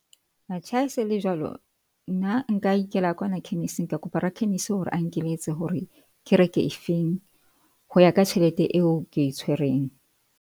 Atjhe ha e se e le jwalo nna nka ikela ka kwana khemising. Ka kopa rakhemisi hore a nkeletse hore ke reke e feng ho ya ka tjhelete eo ke e tshwereng.